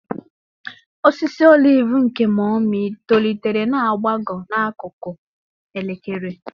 Osisi oliv nke Mummy tolitere na-agbagọ n'akụkụ elekere.